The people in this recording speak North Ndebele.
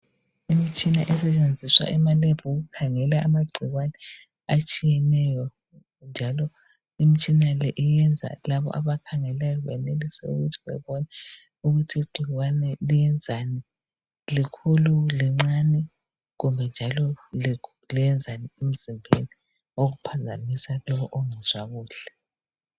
Imitshina esetshenziswa ema lab ukukhangela amagcikwane atshiyeneyo njalo imtshina le iyenza labo abakhangeleyo benelise ukuthi bebone ukuthi igcikwane liyenzani , likhulu kumbe lincane kumbe njalo lenzani emzimbeni okuphambanisa lo ongezwa kuhle